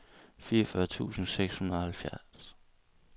fireogfyrre tusind seks hundrede og halvtreds